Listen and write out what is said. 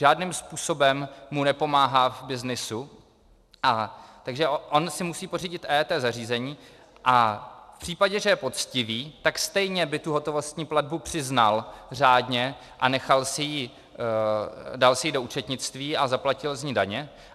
Žádným způsobem mu nepomáhá v byznysu, takže on si musí pořídit EET zařízení a v případě, že je poctivý, tak stejně by tu hotovostní platbu přiznal řádně a dal si ji do účetnictví a zaplatil z ní daně.